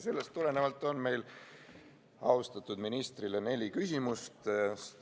Sellest tulenevalt on meil austatud ministrile neli küsimust.